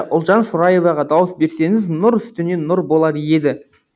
ұлжан шораеваға дауыс берсеңіз нұр үстіне нұр болар еді